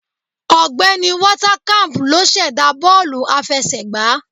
Ọ̀gbẹ́ni Walter camp ló sẹ̀dá bọ́ọ̀lù àfẹsẹ̀gbá